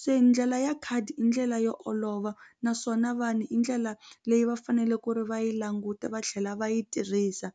se ndlela ya khadi i ndlela yo olova naswona vanhu hi ndlela leyi va fanele ku ri va yi languta va tlhela va yi tirhisa.